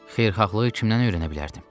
Xeyirxahlığı kimdən öyrənə bilərdim?